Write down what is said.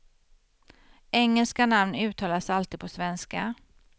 Engelska namn uttalas alltid på svenska.